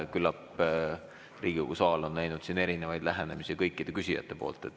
Küllap on Riigikogu saal näinud erinevaid lähenemisi kõikide küsijate poolt.